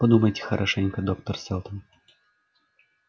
подумайте хорошенько доктор сэлдон